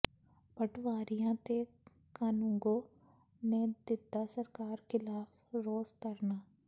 ਪਟਵਾਰੀਆਂ ਤੇ ਕਾਨੂੰਗੋ ਨੇ ਦਿੱਤਾ ਸਰਕਾਰ ਖ਼ਿਲਾਫ਼ ਰੋਸ ਧਰਨਾ